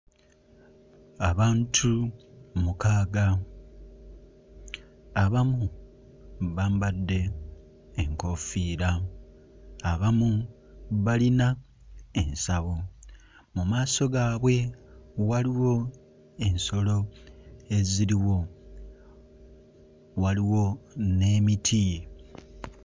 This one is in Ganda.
Abantu mukaaga abamu bambadde enkoofiira, abamu balina ensawo, mu maaso gaabwe waliwo ensolo eziriwo, waliwo n'emiti.